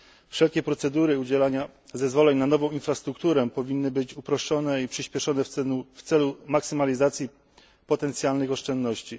Wszelkie procedury udzielania zezwoleń na nową infrastrukturę powinny być uproszczone i przyspieszone w celu maksymalizacji potencjalnych oszczędności.